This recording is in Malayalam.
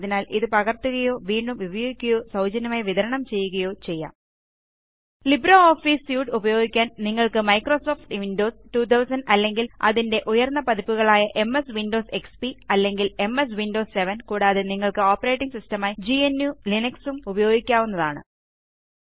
അതിനാൽ ഇത് പകർത്തുകയോ വീണ്ടും ഉപയോഗിക്കുകയോ സൌജന്യമായി വിതരണം ചെയ്യുകയോ ചെയ്യാം ലിബ്രിയോഫീസ് സ്യൂട്ട് ഉപയോഗിക്കാൻ നിങ്ങൾക്ക് മൈക്രോസോഫ്റ്റ് വിൻഡോസ് 2000 അല്ലെങ്കിൽ അതിന്റെ ഉയർന്ന പതിപ്പുകളായ എംഎസ് വിൻഡോസ് എക്സ്പി അല്ലെങ്കിൽ എംഎസ് വിൻഡോസ് 7 കൂടാതെ നിങ്ങൾക്ക് ഓപ്പറേറ്റിംഗ് സിസ്റ്റമായി gnuലിനക്സ് ഉം ഉപയോഗിക്കാവുന്നതാണ്